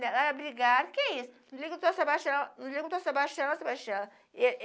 o que é isso? Liga para o seu Sebastião Sebastiana